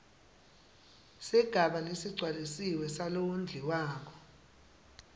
sigaba lesigcwalisiwe salowondliwako